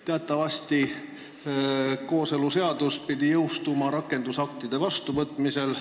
Teatavasti pidi kooseluseadus jõustuma rakendusaktide vastuvõtmisel.